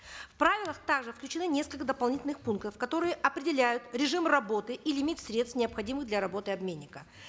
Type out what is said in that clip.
в правила также включены несколько дополнительных пунктов которые определяют режим работы и лимит средств необходимых для работы обменника